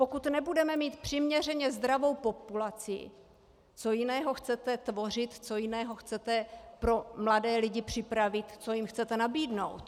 Pokud nebudeme mít přiměřeně zdravou populaci, co jiného chcete tvořit, co jiného chcete pro mladé lidi připravit, co jim chcete nabídnout?